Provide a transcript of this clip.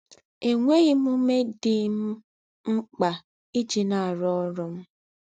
Ènwēghī m úmē dī m m̀kpā íjī nà-àrụ́ órụ́ m